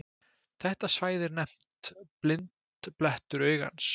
Þetta svæði er nefnt blindblettur augans.